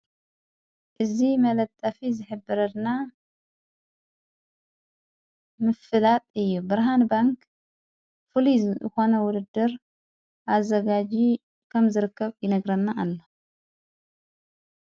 እዝ መለጠፊ ዘኅብረና ምፍላጥ እዩ ብርሃን ባንክ ፍልዝ ኾነ ውርድር ኣዘጋዙ ከም ዘርከብ ይነግረና ኣሎ።